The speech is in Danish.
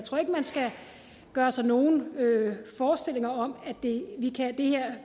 man skal gøre sig nogen forestillinger om at det